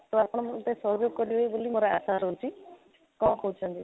ତ ଆପଣ ମୋତେ ସହଯୋଗ କରିବେ ବୋଲି ଆଶା ଅଛି କ'ଣ କହୁଛନ୍ତି?